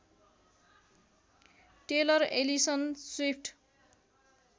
tailor Alison Swift